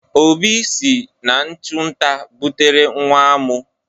Obi si n'ịchu nta butere nwa amụ.